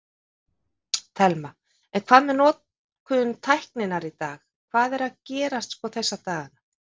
Telma: En hvað með notkun tækninnar í dag, hvað er að gerast sko þessa dagana?